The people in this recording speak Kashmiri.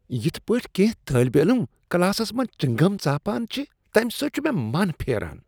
یتھ پٲٹھۍ کینٛہہ طٲلب علم کلاسس منٛز چنٛگم ژاپان چھِ تمہ سۭتۍ چھ من پھیران۔